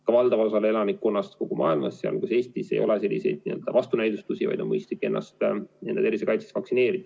Aga valdaval osal elanikkonnast kogu maailmas, sealhulgas Eestis, ei ole selliseid vastunäidustusi, vaid on mõistlik ennast oma tervise kaitseks vaktsineerida.